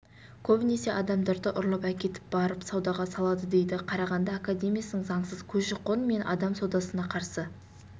көбінесе адамдарды ұрлап әкетіп барып саудаға салады дейді қарағанды академиясының заңсыз көші-қон мен адам саудасына қарсы